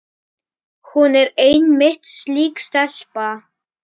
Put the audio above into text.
Hún er einmitt slík stelpa.